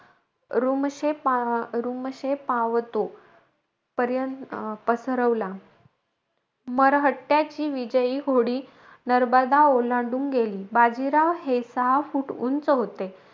रुमशे पा रुमशे पावतो पर्य अं पसरवला. मरहट्ट्याची विजयी घोडी, नर्मदा ओलांडून गेली. बाजीराव हे सहा फूट उंच होते.